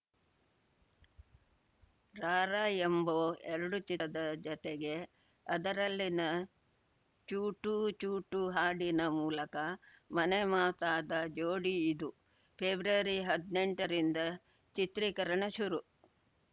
Rambo ಎರಡು ಚಿತ್ರದ ಜತೆಗೆ ಅದರಲ್ಲಿನ ಚುಟು ಚುಟು ಹಾಡಿನ ಮೂಲಕ ಮನೆ ಮಾತಾದ ಜೋಡಿ ಇದು ಫೆಬ್ರವರಿಹದ್ನೆಂಟ ರಿಂದ ಚಿತ್ರೀಕರಣ ಶುರು